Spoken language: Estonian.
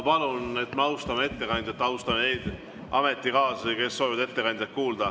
Palun austame ettekandjat ja austame neid ametikaaslasi, kes soovivad ettekandjat kuulda.